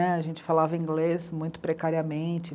A gente falava inglês muito precariamente.